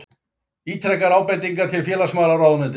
Ítrekar ábendingar til félagsmálaráðuneytisins